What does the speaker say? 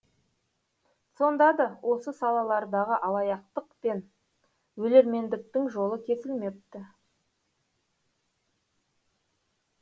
сонда да осы салалардағы алаяқтық пен өлермендіктің жолы кесілмепті